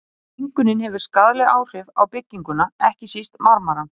Mengunin hefur skaðleg áhrif á bygginguna, ekki síst á marmarann.